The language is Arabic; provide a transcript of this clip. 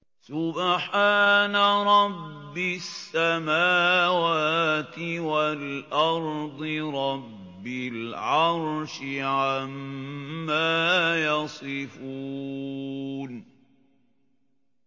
سُبْحَانَ رَبِّ السَّمَاوَاتِ وَالْأَرْضِ رَبِّ الْعَرْشِ عَمَّا يَصِفُونَ